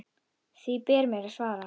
Því ber mér að svara.